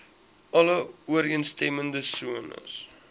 alle ooreenstemmende sones